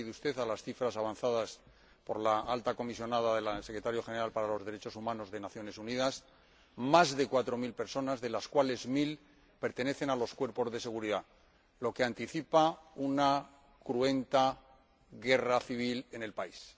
Se ha referido usted a las cifras avanzadas por la Alta Comisionada de las Naciones Unidas para los Derechos Humanos más de cuatro mil personas, de las cuales mil pertenecen a los cuerpos de seguridad, lo que anticipa una cruenta guerra civil en el país.